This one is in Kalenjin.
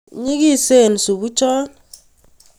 nyikisen supucho